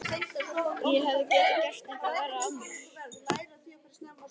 Ég hefði getað gert eitthvað verra af mér.